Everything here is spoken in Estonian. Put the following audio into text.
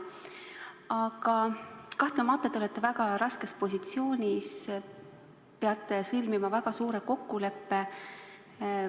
Aga kahtlemata te olete väga raskes positsioonis, te peate sõlmima väga suure kokkuleppe.